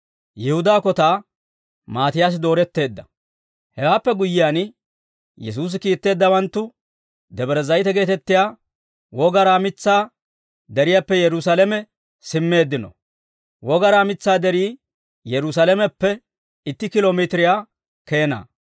Hewaappe guyyiyaan, Yesuusi kiitteeddawanttu Debre Zayite geetettiyaa Wogaraa mitsaa deriyaappe Yerusaalame simmeeddino. Wogaraa mitsaa derii Yerusaalameppe itti kiilo mitiriyaa keena.